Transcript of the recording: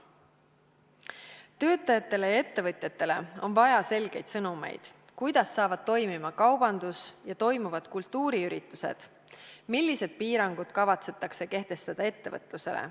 Töötajatele ja ettevõtjatele on vaja selgeid sõnumeid, kuidas hakkavad toimima kaubandus ja toimuvad kultuuriüritused, millised piirangud kavatsetakse kehtestada ettevõtlusele.